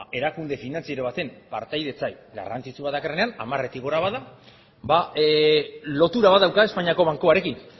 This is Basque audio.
erakunde finantziero baten partaidetza garrantzitsua dakarrenean hamaretik gora bada lotura bat dauka espainiako bankuarekin